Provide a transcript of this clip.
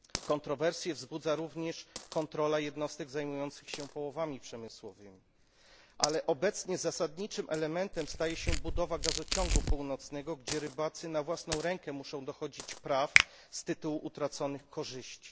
Kontrowersje wzbudza również kontrola jednostek zajmujących się połowami przemysłowymi. Jednak obecnie zasadniczym elementem staje się budowa gazociągu północnego, gdzie rybacy na własną rękę muszą dochodzić paw z tytułu utraconych korzyści.